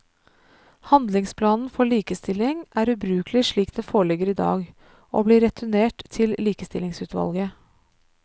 Handlingsplanen for likestilling er ubrukelig slik den foreligger i dag, og blir returnert til likestillingsutvalget.